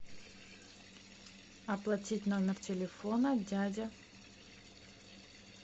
оплатить номер телефона дядя